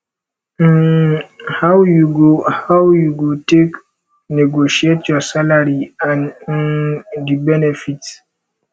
um how you go how you go take negotiate your salary and um di benefits